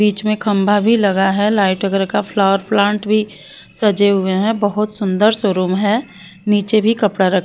बीच में खंभा भी लगा है लाइट वगैरह का फ्लावर प्लांट भी सजे हुए हैं बहुत सुंदर शोरूम है नीचे भी कपड़ा र --